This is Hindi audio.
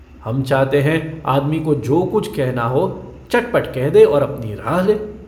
हम चाहते हैं आदमी को जो कुछ कहना हो चटपट कह दे और अपनी राह ले।